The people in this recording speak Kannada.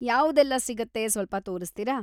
ಯಾವ್ದೆಲ್ಲ ಸಿಗತ್ತೆ ಸ್ವಲ್ಪ ತೋರಿಸ್ತೀರಾ?